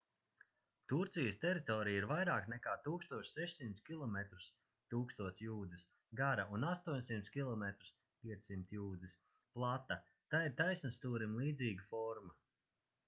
turcijas teritorija ir vairāk nekā 1600 kilometrus 1000 jūdzes gara un 800 km 500 jūdzes plata tai ir taisnstūrim līdzīga forma